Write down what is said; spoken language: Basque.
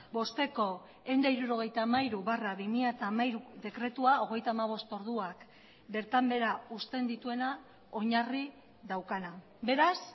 bosteko ehun eta hirurogeita hamairu barra bi mila hamairu dekretua hogeita hamabost orduak bertan behera uzten dituena oinarri daukana beraz